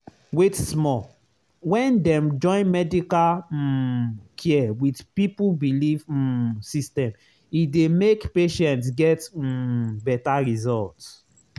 wait small — when dem join medical um care with people belief um system e dey make patient get um better result.